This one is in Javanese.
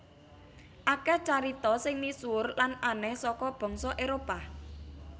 Akeh carita sing misuwur lan aneh saka bangsa Éropah